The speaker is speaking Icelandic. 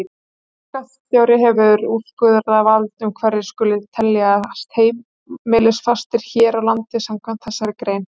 Ríkisskattstjóri hefur úrskurðarvald um hverjir skuli teljast heimilisfastir hér á landi samkvæmt þessari grein.